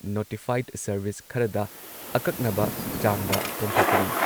Notified service ꯈꯔꯗ ꯑꯀꯛꯅꯕ ꯆꯥꯡꯗ ꯀꯣꯝꯊꯣꯛꯀꯅꯤ ꯫